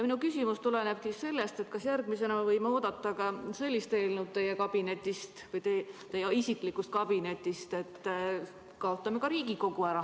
Minu küsimus tulenebki sellest, et kas järgmisena võime oodata ka sellist eelnõu teie kabinetist – või teie isiklikust kabinetist –, et kaotame ka Riigikogu ära.